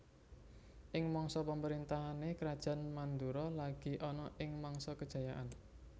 Ing masa pamaréntahané Krajan Mandura lagi ana ing mangsa kejayaan